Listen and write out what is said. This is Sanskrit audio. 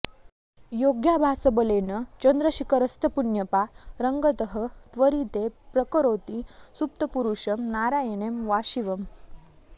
योगाभ्यासबलेन चन्द्रशिखरस्तत्पुण्यपारंगतः त्वत्तीरे प्रकरोति सुप्तपुरुषं नारायणं वा शिवम्